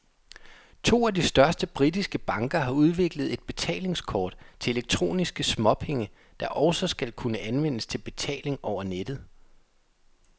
To af de største britiske banker har udviklet et betalingskort til elektroniske småpenge, der også skal kunne anvendes til betaling over nettet.